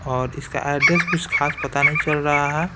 और इसका एड्रेस कुछ खास पता नहीं चल रहा है।